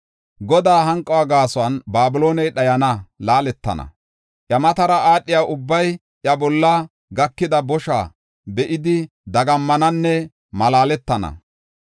Godaa hanquwa gaason, Babilooney dhayana; laaletana. Iya matara aadhiya ubbay iya bolla gakida bosha be7idi, dagammananne malaaletana.